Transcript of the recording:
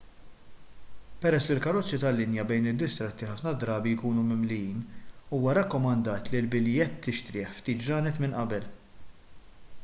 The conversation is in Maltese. peress li l-karozzi tal-linja bejn id-distretti ħafna drabi jkunu mimlijin huwa rakkomandat li l-biljett tixtrih ftit ġranet minn qabel